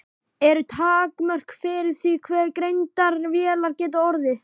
Eru takmörk fyrir því hve greindar vélar geta orðið?